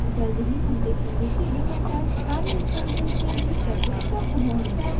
जल्द ही हम देखेंगे कि ये मेथड्स सारे इंस्टैंसेस के लिए कैसे उपलब्ध होंगे